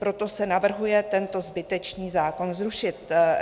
Proto se navrhuje tento zbytečný zákon zrušit.